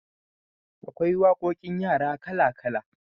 Akwai waƙoƙin yara kala kala